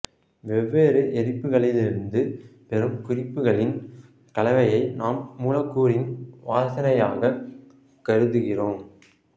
வெவ்வேறு ஏற்பிகளிலிருந்து பெறும் குறிப்புகளின் கலவையை நாம் மூலக்கூறின் வாசனையாகக் கருதுகிறோம்